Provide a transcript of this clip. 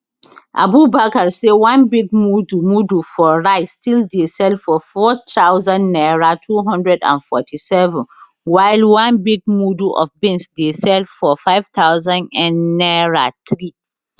abubakar say one big mudu mudu for rice still dey sell for 4000 naira 247 while one big mudu of beans dey sell for 5000nnaira 3